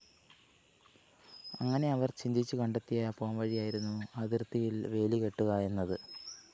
അങ്ങനെ അവര്‍ ചിന്തിച്ചു കണ്ടെത്തിയ പോംവഴിയായിരുന്നു അതിര്‍ത്തിയില്‍ വേലികെട്ടുക എന്നത്